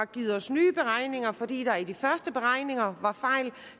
givet os nye beregninger fordi der i de første beregninger var fejl og